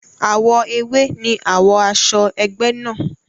Àwọ̀ ewé ni àwo aṣọ egbe náà.